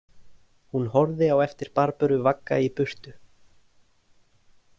Hún horfði á eftir Barböru vagga í burtu.